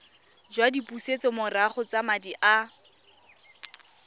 jwa dipusetsomorago tsa madi a